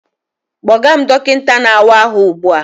Kpọga m dọkịta na-awa ahụ ugbu a!